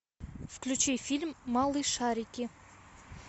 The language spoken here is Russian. включи фильм малышарики